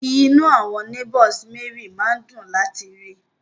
Inú àwọn neigbours Mary máa ń dùn láti rí i